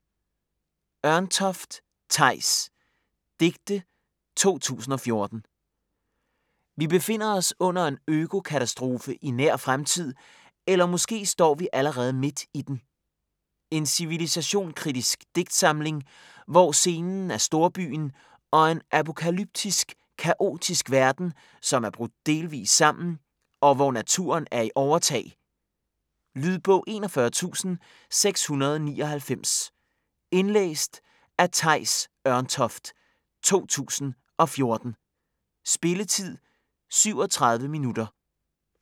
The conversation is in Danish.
Ørntoft, Theis: Digte 2014 Vi befinder os under en økokatastrofe i nær fremtid, eller måske står vi allerede midt i den. En civilisationskritisk digtsamling, hvor scenen er storbyen og en apokalyptisk, kaotisk verden, som er brudt delvis sammen, og hvor naturen er i overtag. Lydbog 41699 Indlæst af Theis Ørntoft, 2014. Spilletid: 0 timer, 37 minutter.